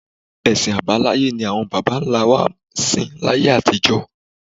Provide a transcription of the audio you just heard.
Ẹ̀sìn àbáláyé ni àwọn bàbá-ńlá wa sìn láyé àtijọ́